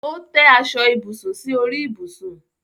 Ó tẹ́ aṣọ ibùsùn sí orí ibùsùn.